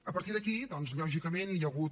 a partir d’aquí doncs lògicament hi ha hagut